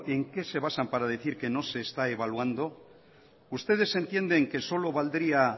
en qué se basan para decir que no se está evaluando ustedes entienden que solo valdría